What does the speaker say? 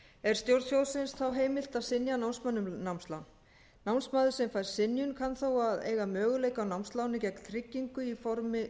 er stjórn sjóðsins þá heimilt að synja námsmanni um námslán námsmaður sem fær synjun kann þó að eiga möguleika á námsláni gegn tryggingu í formi